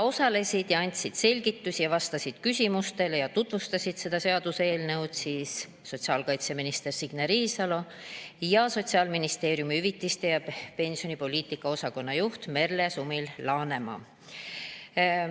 Osalesid, andsid selgitusi, vastasid küsimustele ja tutvustasid seda seaduseelnõu sotsiaalkaitseminister Signe Riisalo ja Sotsiaalministeeriumi hüvitiste ja pensionipoliitika osakonna juht Merle Sumil-Laanemaa.